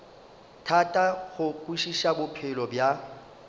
thata go kwešiša bophelo bja